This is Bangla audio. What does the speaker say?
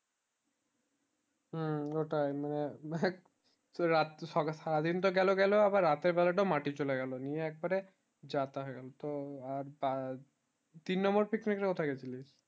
হম ওটাই মানে মানে রাত সারা দিন তো গেলো গেলো আবার রাত্রী বেলাটাও মাটি চলে গেলো নিয়ে এক বারে জাতা হয়ে গেলো তো আর বার তিন number picnic এ কোথায় গিয়েছিলি